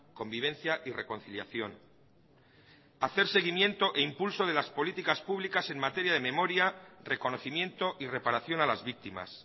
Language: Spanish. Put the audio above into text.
convivencia y reconciliación hacer seguimiento e impulso de las políticas públicas en materia de memoria reconocimiento y reparación a las víctimas